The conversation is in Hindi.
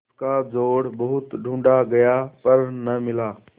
उसका जोड़ बहुत ढूँढ़ा गया पर न मिला